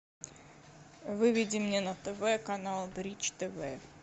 выведи мне на тв канал бридж тв